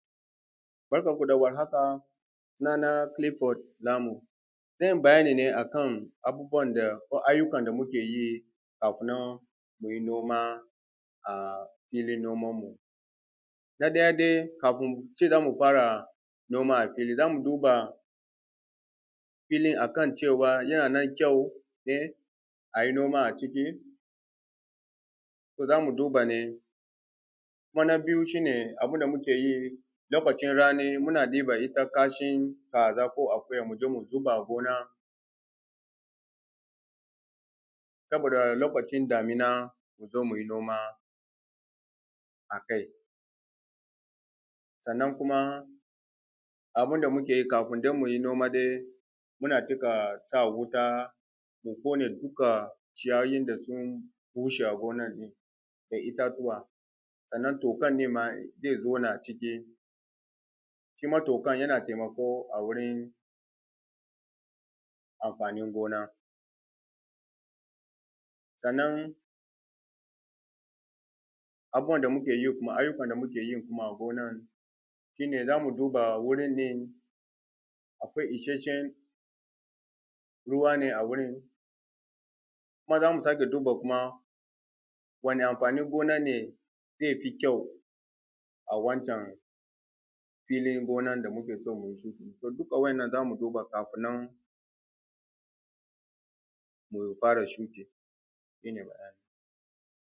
Barkanmu da warhaka sunana Kilifod Namu zan yi bayani akan abubuwan da ko ayyukan da muke yi kafin mu yi noma a filin noman mu, na ɗaya dai kafun mu ce za mu fara noma a fili za mu ce za mu duba filin akan cewa yanan kyau dai a yi noma a ciki. To, za mu duba dai se na biyu shi ne abun da muke yi lokacin rani, muna diban dusan kashe a ƙaza ko akuya mu je mu zuba a gona saboda lokacin damina mu zo mu yi noma akai, sannan kuma abun da muke yi kafun mu je mu yi noma dai muna cika sa wuta, mu ƙone duka ciyayin da sun bushe a gonan da itatuwa sannan tokan nema ze zauna a ciki, shi ma tokan yana taimako a wurin amfanin gona sannan abubuwan da ayyukan da muke yi a gonan shi ne za mu duba wurin ne kuma ishshen ruwa ne a wurin, kuma za mu sake duba kuma wani amfanin gona ne ze fi kyau a wancan filin gona da muke so mu yi shuka, wannan za mu duba kafun nan mu fara shuke shi ne bayani.